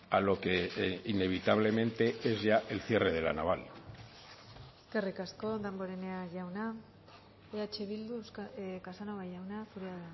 a lo que inevitablemente es ya el cierre de la naval eskerrik asko damborenea jauna eh bildu casanova jauna zurea